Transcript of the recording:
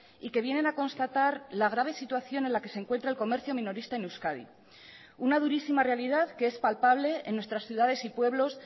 y que vienen a constatar la grave situación en la que se encuentra el comercio minorista en euskadi una durísima realidad que es palpable en nuestras ciudades y pueblos